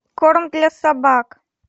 корм для собак